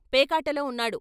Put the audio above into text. పేకాటలో ఉన్నాడు.